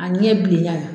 A ɲɛ bilenya